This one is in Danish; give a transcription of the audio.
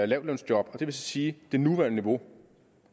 lavtlønsjob det vil sige det nuværende niveau og